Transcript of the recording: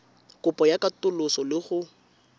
kopo ya katoloso le go